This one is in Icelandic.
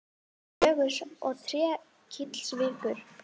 Gjögurs og Trékyllisvíkur.